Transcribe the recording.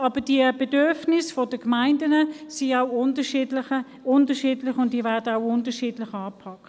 Aber die Bedürfnisse der Gemeinden sind unterschiedlich und werden auch unterschiedlich angepackt.